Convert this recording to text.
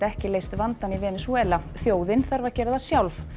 ekki leyst vandann í Venesúela þjóðin þarf að gera það sjálf